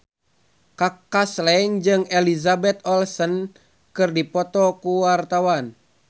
Kaka Slank jeung Elizabeth Olsen keur dipoto ku wartawan